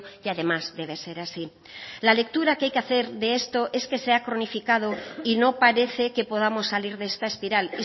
y además debe ser así la lectura que hay que hacer de esto es que se ha cronificado y no parece que podamos salir de esta espiral